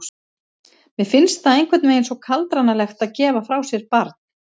Mér finnst það einhvern veginn svo kaldranalegt að gefa frá sér barn.